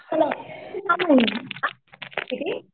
सहा महिने